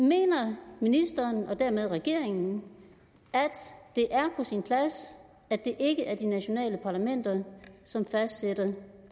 mener ministeren og dermed regeringen at det er på sin plads at det ikke er de nationale parlamenter som fastsætter